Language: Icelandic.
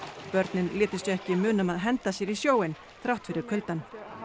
börnin létu sig ekki muna um að henda sér í sjóinn þrátt fyrir kuldann